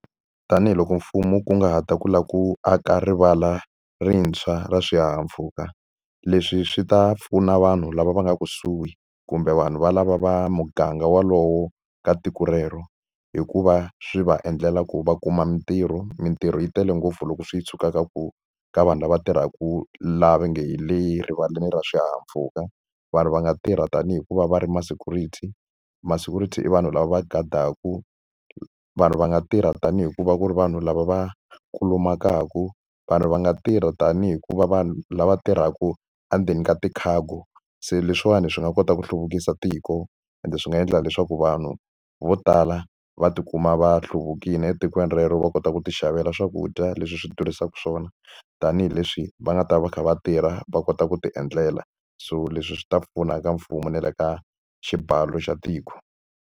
Tanihiloko mfumo wu kunguhata ku lava ku aka rivala rintshwa ra swihahampfhuka, leswi swi ta pfuna vanhu lava va nga kusuhi kumbe vanhu valava va muganga wolowo ka tiko relero hi ku va swi va endlela ku va kuma mintirho. Mintirho yi tele ngopfu loko swi suka ka ku ka vanhu lava tirhaku laha va nge hi le rivaleni ra swihahampfhuka. Vanhu va nga tirha tanihi hi ku va va ri ma-security. Ma-security i vanhu lava va gadaka, vanhu va nga tirha tanihi ku va ku ri vanhu lava va kulumakaka, vanhu va nga tirha tanihi hi ku va vanhu lava tirhaka endzeni ka ti-cargo. Se leswiwani swi nga kota ku hluvukisa tiko ende swi nga endla leswaku vanhu vo tala va tikuma va hlukile etikweni relero, va kota ku ti xavela swakudya leswi swi durhisaka xiswona. Tanihileswi va nga ta va kha va tirha va kota ku ti endlela, so leswi swi ta pfuna ka mfumo na le ka xibalo xa tiko.